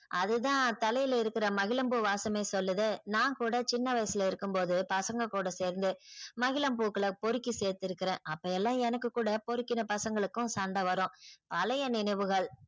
அது தான் தலைல இருக்குற மகிழம்பூ வாசமே சொல்லுது நான் கூட சின்ன வயசுல இருக்கும்போது பசங்க கூட சேர்ந்து மகிழம் பூக்களை பொருக்கி சேர்த்து இருக்குறன் அப்ப எல்லாம் எனக்கு கூட பொருக்குன பசங்களுக்கும் கூட சண்ட வரும் பழைய நினைவுகள்